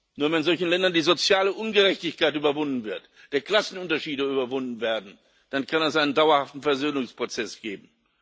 Nur wenn in solchen Ländern die soziale Ungerechtigkeit überwunden wird, die Klassenunterschiede überwunden werden, dann kann es einen dauerhaften Versöhnungsprozess geben.